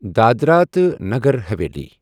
دادرا تہٕ نٔگر ہوےلی